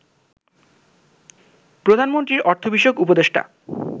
প্রধানমন্ত্রীর অর্থ বিষয়ক উপদেষ্টা